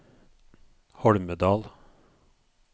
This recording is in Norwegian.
Holmedal